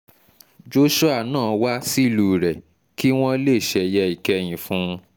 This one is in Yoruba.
joshua náà wá sílùú rẹ̀ kí wọ́n lè ṣeye ìkẹyìn fún un